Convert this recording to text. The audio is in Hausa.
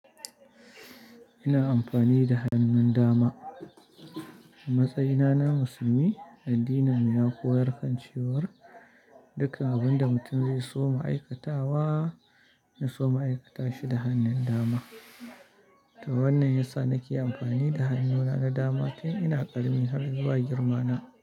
Ina amfani da hannun dama. A matsayina na musulmi, addinin mu ya koyar da cewa dukkan abun da mutum zai so ma'aikata wa, ya so ma'aikata shi da hannun dama. To wannan yasa nake amfani da hannuna na dama tun ina ƙaramin har zuwa girma na.